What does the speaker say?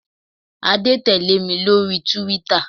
Adé tẹ̀lé mi lórí túwítà